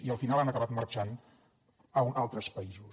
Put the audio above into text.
i al final han acabat marxant a altres països